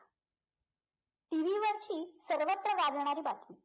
TV वरची सर्वत्र गाजणारी बातमी